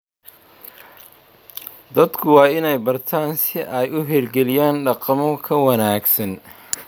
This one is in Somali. Dadku waa inay bartaan si ay u hirgeliyaan dhaqamo ka wanaagsan.